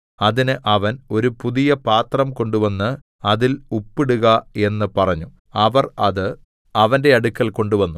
അതിന് അവൻ ഒരു പുതിയ പാത്രം കൊണ്ടുവന്ന് അതിൽ ഉപ്പ് ഇടുക എന്ന് പറഞ്ഞു അവർ അത് അവന്റെ അടുക്കൽ കൊണ്ടുവന്നു